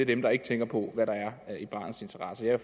dem der ikke tænker på hvad der er i barnets interesse jeg